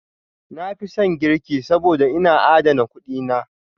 Na fi son girki saboda, yana adana kuɗi na.